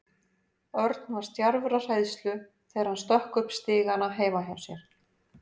Örn var stjarfur af hræðslu þegar hann stökk upp stigana heima hjá sér.